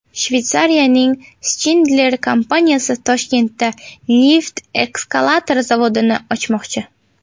Shveysariyaning Schindler kompaniyasi Toshkentda lift-eskalator zavodini ochmoqchi.